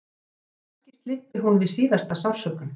Kannski slyppi hún við síðasta sársaukann.